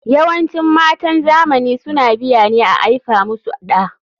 YAwancin matan zamani suna biya ne a aifa musu ɗa.